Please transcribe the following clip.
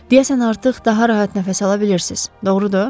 Deyəsən, artıq daha rahat nəfəs ala bilirsiz, doğrudur?